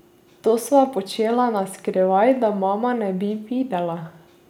To sva počela na skrivaj, da mama ne bi videla.